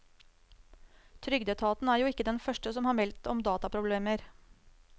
Trygdeetaten er jo ikke den første som har meldt om dataproblemer.